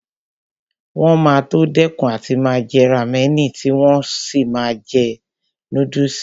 Wọn máa tó dẹ́kun àti máa jẹ rámẹ̀nì tí wọn ó sì máa jẹ núdùsì